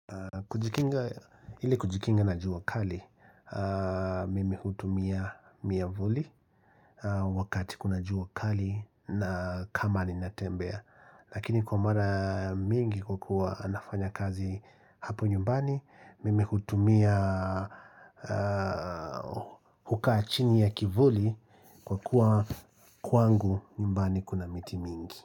Kujikinga ili kujikinga na juu kali, mimi hutumia miavuli wakati kuna jua kali na kama ninatembea, lakini kwa mara mingi kukuwa nafanya kazi hapo nyumbani, mimi hutumia hukaa chini ya kivuli kwa kuwa kwangu nyumbani kuna miti mingi.